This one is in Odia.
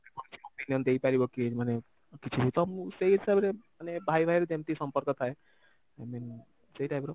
ସେ ମୋ ପାଇଁ opinion ଦେଇପାରିବ କି ମାନେ କିଛିର ତ ମୁଁ ସେଇ ହିସାବରେ ମାନେ ଭାଇ ଭାଇର ଯେମିତି ସମ୍ପର୍କ ଥାଏ i mean ସେଇ typeର